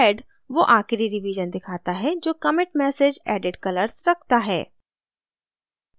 head वो आखिरी revision दिखाता है जो commit message added colors रखता है